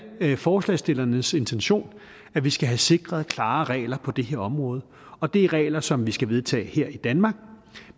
forslagsstillernes intention at vi skal have sikret klare regler på det her område og det er regler som vi skal vedtage her i danmark